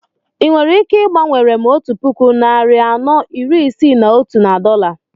I nwere ike igbanwere m otu puku narị anọ iri Isii na otu na dọla?